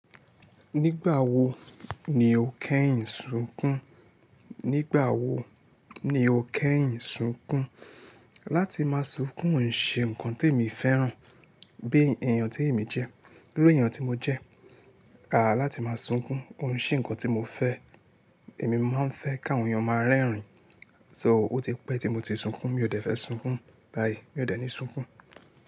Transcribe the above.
Nígbà wo ni o kẹ́yìn sunkún? Nígbà wo ni o kẹ́yìn sunkún? Láti máa sunkún n ṣe ǹkan tí èmi ò fẹ́ràn, bí èèyàn tí èmi jẹ́. Lórí èèyàn tí mo jẹ́, àà láti máa sunkún, òun ṣé nǹkan tí mo fẹ́. Èmi máa n fẹ́ káwọn èèyàn máa rẹ́rìn-ín. So ó ti pẹ́ tí mo ti sunkún, mi ò dẹ́fẹ́ sunkún báyìí, mi ò dẹ́ ni sunkún.